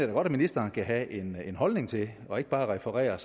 da godt at ministeren kan have en en holdning til og ikke bare referere